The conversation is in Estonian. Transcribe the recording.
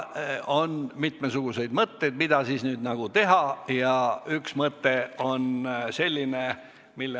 On mitmesuguseid mõtteid, mida siis nüüd teha, ja üks mõte on selline.